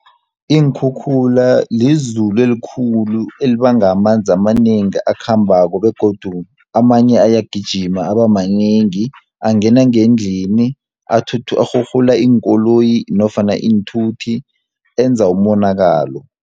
Iinkhukhula lizulu elikhulu elibanga amanzi amanengi akhambako, begodu amanye ayagijima abamanengi angena ngendlini, arhurhula iinkoloyi nofana iinthuthi, enza umonakalo.